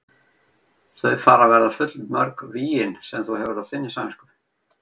Þau fara að verða full mörg vígin sem þú hefur á þinni samvisku.